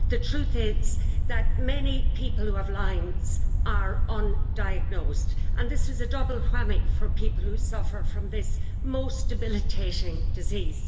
The truth is that many people who have Lyme disease are undiagnosed and this is a double whammy for people who suffer from this most debilitating disease.